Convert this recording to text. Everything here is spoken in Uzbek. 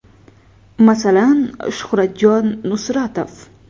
Masalan, Shuhratjon Nusratov.